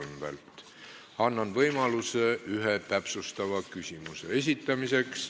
Annan iga teema arutelul võimaluse ühe täpsustava küsimuse esitamiseks.